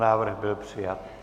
Návrh byl přijat.